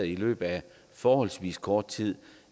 i løbet af forholdsvis kort tid